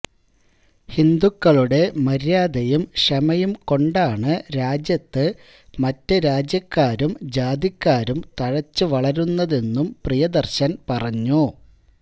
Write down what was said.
ഹിന്ദുക്കളുടെ മര്യാദയും ക്ഷമയും കൊണ്ടാണ് രാജ്യത്ത് മറ്റു രാജ്യക്കാരും ജാതിക്കാരും തഴച്ച് വളരുന്നതെന്നും പ്രിയദർശൻ പറഞ്ഞു